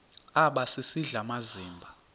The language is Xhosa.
aba sisidl amazimba